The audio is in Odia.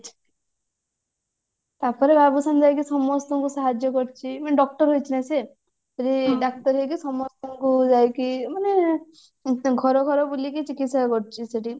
ତାପରେ ବାବୁସାନ ଯାଇକି ସମସ୍ତଙ୍କୁ ସାହାଜ୍ଯ କରୁଛି doctor ହେଇଛି ନା ସିଏ ଯୋଉ ଡାକ୍ତର ହେଇକି ସମସ୍ତଙ୍କୁ ଯାଇକି ମାନେ ଘର ଘର ବୁଲିକି ଚିକିତ୍ସା କରୁଛି ସେଠି